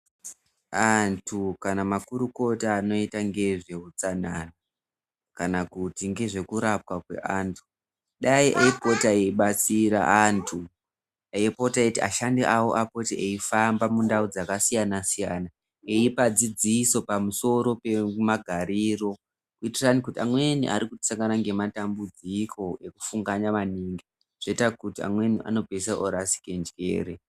Antu kana makurukota anoita ngezveutsanana, kana kuti ngezvekurapwa kweantu dai eyipota eyibatsira antu, eyipota eyiti ashandi awo apote eifamba mundau dzakasiyana siyana, eyipa dzidziso pamusoro pemagariro, kuitirani kuti amweni ari kusangana nematambudziko ekufunganya maningi zvoita kuti amweni anopedzisira orasike njere.